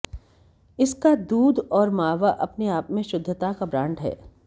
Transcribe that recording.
इसका दूध और मावा अपने आप में शुद्धता का ब्रांड है